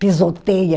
pisoteia.